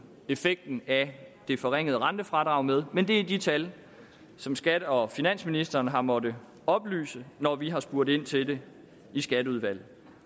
effekten af det forringede rentefradrag med men det er de tal som skat og finansministeren har måttet oplyse når vi har spurgt ind til det i skatteudvalget